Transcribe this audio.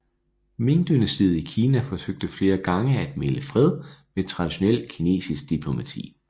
Mingdynastiet i Kina forsøgte flere gange at mægle fred med traditionel kinesisk diplomati